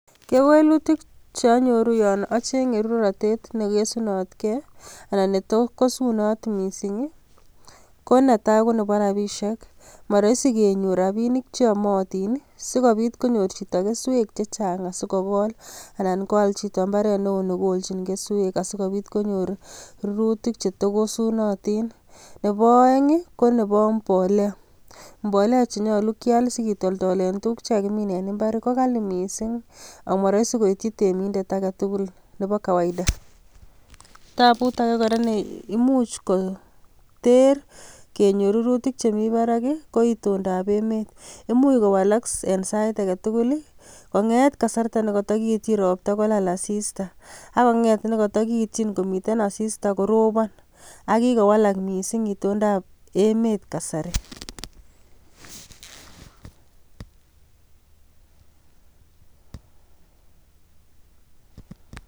Kewelutik cheanyoru yon acheng'e ruratet neikesunatgei anan ne tos kasunot mising' ko netai konebo rapishek maraisi kenyor rapinik cheamotin sikobit konyor chito keswek chechang' asikokol anan koal chito mbaret neo nekoljin keswek asikobit konyor rurutik chetokosotin nebo oeng' ko nebo mbolea mbolea chenyolu kiyal sikitoldole tukuk chekakimiin eng' mbar ko kali mising' amaraisi koiyi temindet agetugul nebo kawaida taput age kora ne imuch koter kenyor rurutik chemi barak ko itondaab emet imuch kowalak eng' sait agetugul kong'et kasarta nekatakiityin ropta kolal asista akong'et nekatakiityin asista koropan akowalak mising' itondaab emet kasari